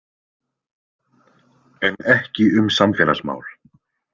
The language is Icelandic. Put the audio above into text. En ekki um samfélagsmál.